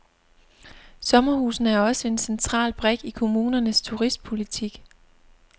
Sommerhusene er også en central brik i kommunernes turistpolitik.